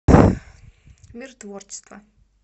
мир творчества